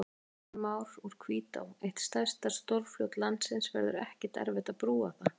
Kristján Már: Úr Hvítá, eitt stærsta stórfljót landsins, verður ekkert erfitt að brúa það?